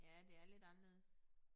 Ja det er lidt anderledes